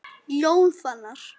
Jón Fannar.